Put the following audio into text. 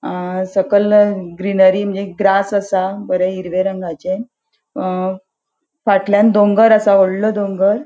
अ सकल ग्रीनरी मंजे ग्रास असा बरे हिरवे रंगाचे अ फाटल्यान दोंगर असा वोडलों दोंगर.